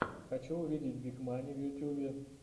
хочу увидеть биг мани в ютьюбе